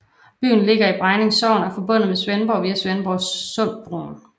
Byen ligger i Bregninge Sogn og er forbundet med Svendborg via Svendborgsundbroen